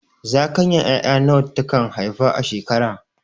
Zakayan ƴaƴa nawa ta kan haifa a shekara?